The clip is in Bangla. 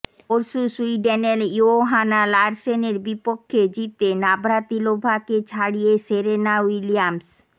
পরশু সুইডেনের ইয়োহানা লারসেনের বিপক্ষে জিতে নাভ্রাতিলোভাকে ছাড়িয়ে সেরেনা উইলিয়ামস